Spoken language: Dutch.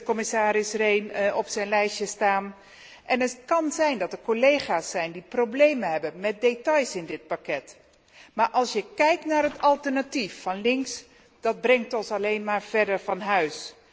Commissaris Rehn heeft vijftien punten op zijn lijstje staan en het kan zijn dat er collega's zijn die problemen hebben met details in dit pakket, maar als je kijkt naar het alternatief van links, dan brengt ons dat alleen maar verder van huis.